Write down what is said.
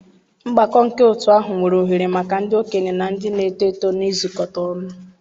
Mgbakọ nke otu ahụ nyere ohere maka ndị okenye na ndị na-eto eto na-izukọta ọnụ.